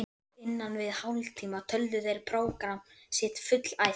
Á innan við hálftíma töldu þeir prógramm sitt fullæft.